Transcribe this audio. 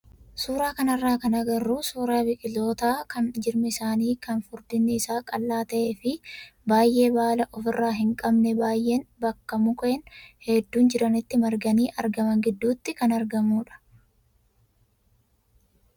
Suuraa kanarraa kan agarru suuraa biqilootaa kan jirmi isaanii kan furdinni isaa qal'aa ta'ee fi baay'ee baala ofirraa hin qabne baay'een bakka mukkeen hedduun jiranitti marganii argaman gidduutti kan argamudha.